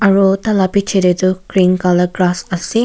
aro taila piche de toh green color grass ase.